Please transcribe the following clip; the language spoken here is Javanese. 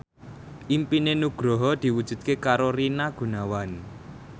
impine Nugroho diwujudke karo Rina Gunawan